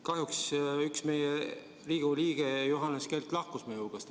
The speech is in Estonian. Kahjuks üks Riigikogu liige Johannes Kert lahkus meie hulgast.